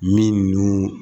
Min dun